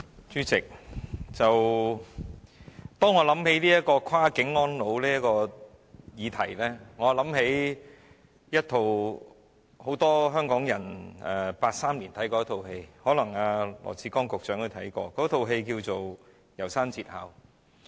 主席，當我想到"跨境安老"的議題，我就想起一齣很多香港人在1983年看過的電影，可能羅致光局長也看過，那齣電影名為"楢山節考"。